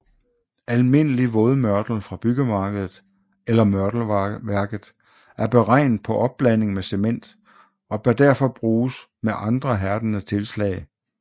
Almindelig vådmørtel fra byggemarkedet eller mørtelværket er beregnet på opblanding med cement og bør derfor bruges med andre hærdende tilslag